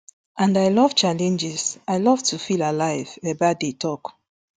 and i love challenges i love to feel alive ebaide tok